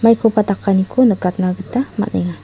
maikoba dakaniko nikatna gita man·enga.